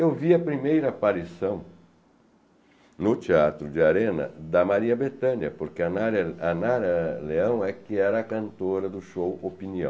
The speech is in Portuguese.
Eu vi a primeira aparição no Teatro de Arena da Maria Bethânia, porque a Narea, a Nara Leão era a cantora do show Opinião.